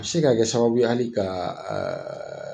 se ka kɛ sababu ye hali ka